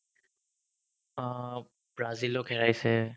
অ, ব্ৰাজিলক হেৰাইছে